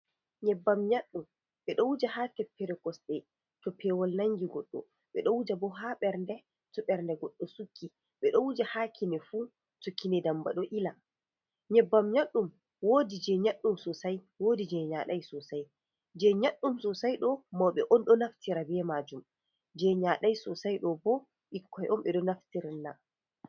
Nyebbam nyaɗɗum, ɓe ɗo wuja haa teppere kosɗe to peewol nangi goɗɗo. Ɓe ɗo wuja bo haa ɓernde to ɓernde goɗɗo sukki, ɓe ɗo wuja haa kine fu to kine ndamba ɗo ila. Nyebbam nyaɗɗum woodi nyaɗɗum sosay, woodi jey nyaday sosay. Jey nyaɗɗum sosay ɗo, mawɓe on ɗo naftira be maajum, jey nyaday sosay ɗo bo, ɓikkoy on ɓe ɗo naftirina.